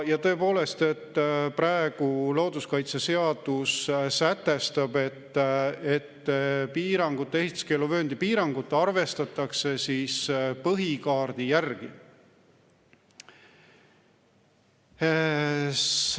Ja tõepoolest, praegu looduskaitseseadus sätestab, et piirangut, ehituskeeluvööndi piirangut arvestatakse põhikaardi järgi.